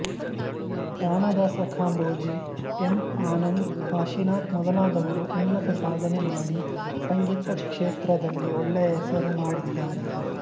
Ramadasa Kambhoji M Anand Kashinath ಮೊದಲಾದವರು ಉನ್ನತ ಸಾಧನೆ ಮಾಡಿ ಸಂಗೀತ ಕ್ಷೇತ್ರದಲ್ಲಿ ಒಳ್ಳೆಯ ಹೆಸರುಮಾಡಿದ್ದಾರೆ